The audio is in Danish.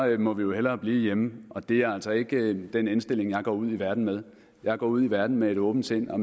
må vi hellere blive hjemme og det er altså ikke den indstilling jeg går ud i verden med jeg går ud i verden med et åbent sind og